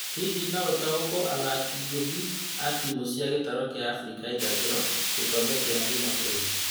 Hihi noũtaũkwo athaki "ngothi" wa timũ cia gĩtaro kĩa Afrika irathĩro gĩkombe gĩa kĩmabũrũri.